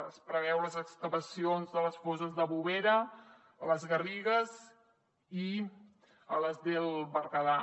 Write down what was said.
es preveuen les excavacions de les fosses de bovera les garrigues i el berguedà